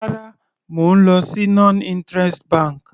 Rárá, mo lọ sí non interest bank.